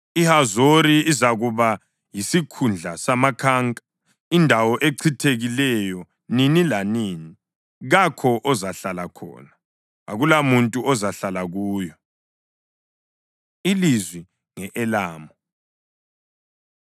“IHazori izakuba yisikhundla samakhanka, indawo echithekileyo nini lanini. Kakho ozahlala khona, akulamuntu ozahlala kuyo.” Ilizwi Nge-Elamu